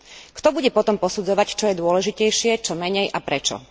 Kto bude potom posudzovať, čo je dôležitejšie, čo menej a prečo?